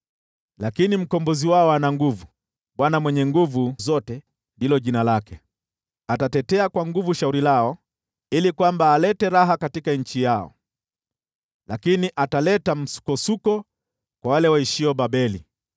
Lakini Mkombozi wao ana nguvu; Bwana Mwenye Nguvu Zote ndilo jina lake. Atatetea kwa nguvu shauri lao ili alete raha katika nchi yao, lakini ataleta msukosuko kwa wale waishio Babeli.